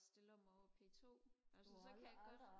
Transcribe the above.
stiller mig på p2 altså så kan jeg godt